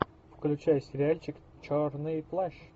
включай сериальчик черный плащ